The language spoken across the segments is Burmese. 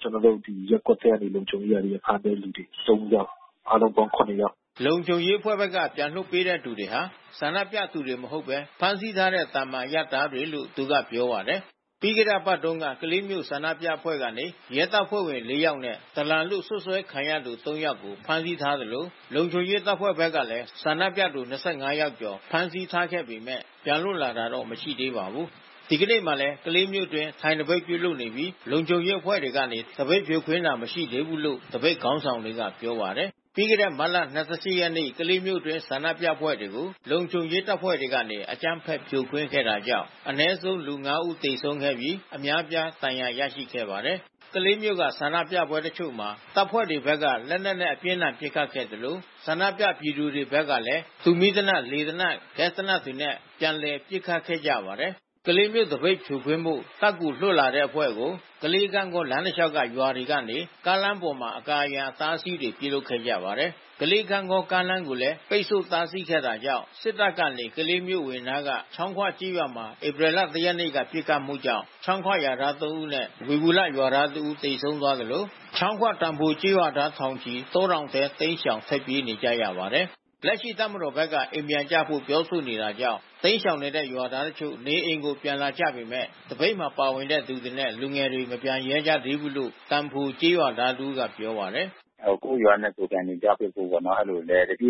ကျနော်တို့ရပ်ကွက်ထဲက လူတချို့ကနေ ဖမ်းပေးတဲ့လူ ၃ ယောက်၊ အားလုံးပေါင်း ၇ ယောက်။” လုံခြုံရေးအဖွဲ့ဘက်က ပြန်လွှတ်ပေးတဲ့သူတွေဟာ ဆန္ဒပြသူတွေမဟုတ်ဘဲ ဖမ်းဆီးထားတဲ့ သာမန်အရပ်သားလို့ သူကပြောပါတယ်။ ပြီးခဲ့တဲ့အပတ်တုန်းက ကလေးမြို့ ဆန္ဒပြအဖွဲ့ကနေ ရဲတပ်ဖွဲ့ဝင် ၄ ယောက်နဲ့ ဒလန်လို့ စွပ်စွဲခံရတဲ့ ၃ ယောက်ကို ဖမ်းဆီးထားသလို လုံခြုံရေးတပ်ဖွဲ့တွေဘက်ကလည်း ဆန္ဒပြသူ ၂၅ ယောက်ကျော် ဖမ်းဆီးထားခဲ့ပေမယ့် ပြန်လွတ်လာတာ မရှိသေးပါဘူး။ ဒီကနေ့မှာလည်း ကလေးမြို့အတွင်း ထိုင်သပိတ်ပြုလုပ်နေပြီး လုံခြုံရေးအဖွဲ့တွေကနေ သပိတ်ဖြိုခွင်းတာ မရှိသေးဘူးလို့ သပိတ်ခေါင်းဆောင်တွေက ပြောပါတယ်။ ပြီးခဲ့တဲ့ မတ်လ ၂၈ ရက်နေ့ ကလေးမြို့အတွင်း ဆန္ဒပြအဖွဲ့တွေကို လုံခြုံရေးတပ်ဖွဲ့တွေကနေ အကြမ်းဖက် ဖြိုခွင်းတာကြောင့် အနည်းဆုံး လူ ၅ ဦး သေဆုံးခဲ့ပြီး အများအပြား ဒဏ်ရာရရှိခဲ့ပါတယ်။ ကလေးမြို့က ဆန္ဒပြပွဲတချို့မှာ တပ်ဖွဲ့တွေဘက်က လက်နက်နဲ့ အပြင်းအထန် ပစ်ခတ်ခဲ့သလို ဆန္ဒပြ ပြည်သူတွေဘက်ကလည်း တူမီးသေနတ်၊ လေသေနတ်၊ ဂက်စ်သေနတ်တွေနဲ့ ပြန်လည်ပစ်ခတ်ခဲ့ကြပါတယ်။ ကလေးမြို့ သပိတ်ဖြိုခွင်းဖို့ တပ်ကူလွှတ်လာတဲ့အဖွဲ့ကို ကလေး-ဂန့်ဂေါလမ်းတလျှောက် ရွာတွေကနေ ကားလမ်းမပေါ် အကာအရံ အတားအဆီးတွေ ပြုလုပ်ခဲ့ကြပါတယ်။ ကလေး-ဂန့်ဂေါမြို့ ကားလမ်းကိုလည်း ပိတ်ဆို့ တားဆီးခဲ့တာကြောင့် စစ်တပ်ကနေ ကလေးမြို့အဝင်နားက ချောင်းခွကျေးရွာမှာ ဧပြီလ ၁ ရက်နေ့က ပစ်ခတ်မှုကြောင့် ချောင်းခွရွာသား ၃ ဦးနဲ့ ဝေဘူလရွာသားတဦး သေဆုံးသွားသလို ချောင်းခွ သံဖိုကျေးရွာသား ထောင်ချီ တောတောင်ထဲ တိမ်းရှောင်ထွက်ပြေးနေကြရပါတယ်။ လက်ရှိ တပ်မတော်ဘက်က အိမ်ပြန်ကြဖို့ ပြောဆိုတာကြောင့် တိမ်းရှောင်နေတဲ့ ရွာသားတချို့ နေအိမ်ကို ပြန်လာကြပေမယ့် သပိတ်မှာ ပါဝင်တဲ့သူတွေနဲ့ လူငယ်တွေ မပြန်ရဲကြသေးဘူးလို့ သံဖိုကျေးရွာသားတဦးက ပြောပါတယ်။ “ကိုယ့်ရွာနဲ့ကိုယ် ပြန်နေကြဖို့ပေါ့နော် တပ်မတော်ဘက်က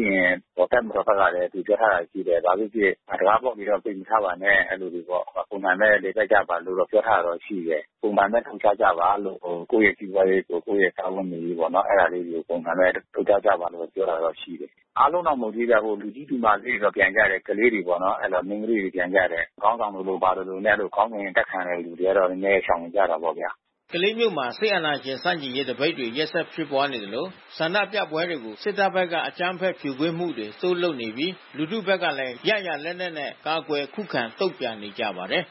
လည်း သူပြောထားတာရှိတယ်။ လာလို့ရှိရင် တံခါးဖွင့်ထားပြီးတော့ ပိတ်မထားပါနဲ့။ ပုံမှန်ပဲ နေသွားကြပါ။ ကိုယ့်ရဲ့စီးပွားရေး ကိုယ့်ရဲ့ စားဝတ်နေရေးပေါ့နော်။ အဲဒါလေးတွေ ပုံစံနဲ့ နေသွားကြပါလို့ ပြောတာတော့ရှိတယ်။ အားလုံးတော့ မပေးပြန်ဘူး။ ဥပမာ လူတွေတော့ပြန်ကြတယ် ကလေးတွေပေါ့နော်။ အဲဒါ မိန်းကလေးတွေ ပြန်ကြတယ်။ ခေါင်းဆောင်လိုလို ဘာလိုလိုနဲ့ ခေါင်းစဉ်အတပ်ခံရတဲ့ သူတွေကတော့ နည်းနည်း ရှောင်နေကြတာပေါ့ဗျာ။” ကလေးမြို့မှာ စစ်အာဏာရှင်ဆန့်ကျင်ရေး သပိတ်တွေ ရက်ဆက်ဖြစ်ပွားနေသလို ဆန္ဒပြပွဲတွေကို စစ်တပ်ဘက်က အကြမ်းဖက် ဖြိုခွင်းမှုတွေ တိုးလုပ်နေပြီး လူထုဘက်ကလည်း ရရာလက်နက်နဲ့ ကာကွယ်ခုခံ တုံ့ပြန်နေကြပါတယ်